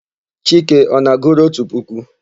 Chike ọ na-agụru otu puku?